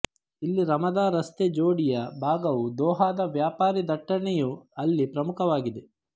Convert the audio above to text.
ಇಲ್ಲಿ ರಾಮದಾ ರಸ್ತೆ ಜೋಡಿಯ ಭಾಗವು ದೊಹಾದ ವ್ಯಾಪಾರಿ ದಟ್ಟಣೆಯು ಅಲ್ಲಿ ಪ್ರಮುಖವಾಗಿದೆ